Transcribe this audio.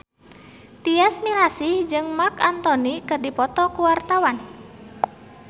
Tyas Mirasih jeung Marc Anthony keur dipoto ku wartawan